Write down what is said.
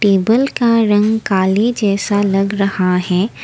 Table का रंग काले जैसा लग रहा है।